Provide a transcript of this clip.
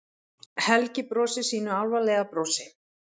Helgi brosir sínu álfalega brosi.